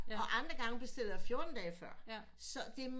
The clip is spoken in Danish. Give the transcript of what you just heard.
Og andre gange bestiller jeg fjorten dage før så det er meget